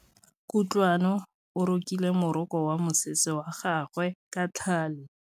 Kutlwanô o rokile morokô wa mosese wa gagwe ka tlhale.